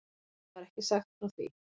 Mér var ekki sagt frá því.